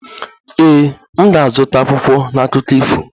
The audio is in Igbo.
Ee, m ga-azụta akwụkwọ na akụkọ ifo